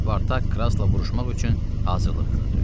Spartak Krasla vuruşmaq üçün hazırlıq gördü.